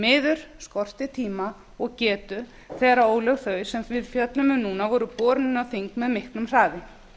miður skortir tíma og getu þegar ólög þau sem við fjöllum um núna voru borin inn á þing með miklum hraði